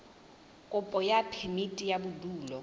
kopo ya phemiti ya bodulo